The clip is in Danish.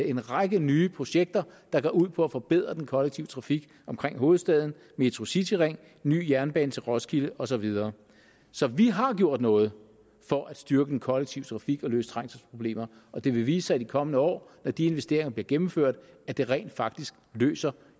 en række nye projekter der går ud på at forbedre den kollektive trafik omkring hovedstaden metro cityring ny jernbane til roskilde og så videre så vi har gjort noget for at styrke den kollektive trafik og løse trængselsproblemer og det vil vise sig i de kommende år når de investeringer bliver gennemført at det rent faktisk løser